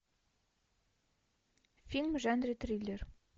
фильм в жанре триллер